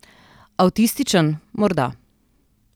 Avtističen, morda.